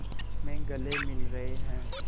में गले मिल रहे हैं